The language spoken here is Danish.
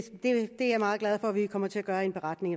er jeg meget glad for at vi kommer til at gøre i en beretning